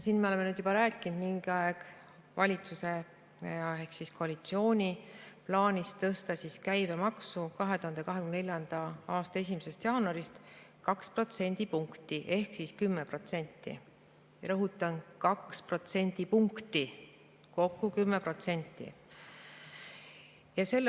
Me oleme siin juba mingi aeg rääkinud valitsuse ehk koalitsiooni plaanist tõsta käibemaksu 2024. aasta 1. jaanuarist 2 protsendipunkti ehk 10%, rõhutan: 2 protsendipunkti, kokku 10%.